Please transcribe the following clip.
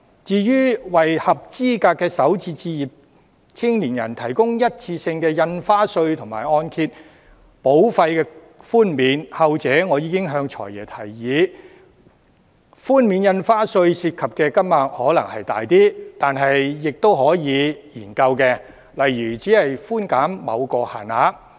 至於為合資格的首次置業青年人提供一次性印花稅和按揭保費寬免，後者我已向"財爺"建議，雖然涉及寬免印花稅的款額可能稍多，但仍可以研究，例如把寬減限於某個數額。